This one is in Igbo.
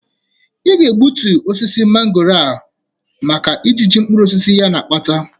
Ị ga-ebutu osisi mangooro a maka ijiji mkpuruosisi ya na-akpata.